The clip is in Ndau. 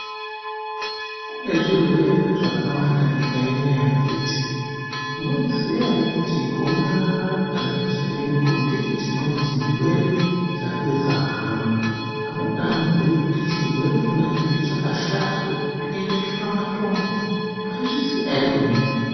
Kune zvirwere zvakawanda munyika inoyi akiti ,munozviziv ere kuti gomarara remuchibereko ndicho chimweni chirwere chapedza hama. Amweni anobhuya kuti chirwere chona ichocho chakashata kupinde shura matongo maizviziva here imimi.